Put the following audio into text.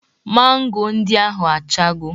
Mango ndị ahụ achago